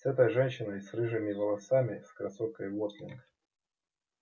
с этой женщиной с рыжими волосами с красоткой уотлинг